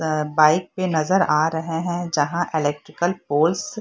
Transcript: bike पर नजर आ रहे है जहाँ इलेक्ट्रिकल --